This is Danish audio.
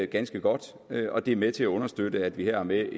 ganske godt og det er med til at understøtte at vi her har med